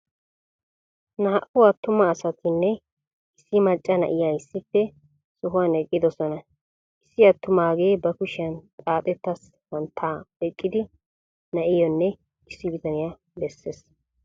Naa"u attuma asatinne issi macca na'iya issippe sohuwan eqqidosona, issi attumagee ba kushiyan xaaxxetta santtaa oyqqidi na'iyonne issi bitaniya bessees.